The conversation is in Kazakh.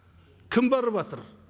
кім барыватыр